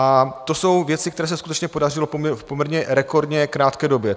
A to jsou věci, které se skutečně podařilo poměrně rekordně v krátké době.